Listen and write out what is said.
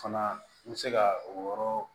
Fana n bɛ se ka o yɔrɔ